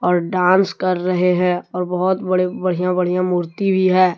और डांस कर रहे हैं और बहोत बड़े बढ़िया बढ़िया मूर्ति भी है।